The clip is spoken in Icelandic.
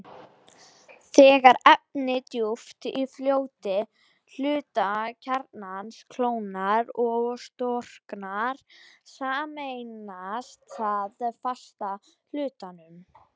Þegar efni djúpt í fljótandi hluta kjarnans kólnar og storknar, sameinast það fasta hlutanum.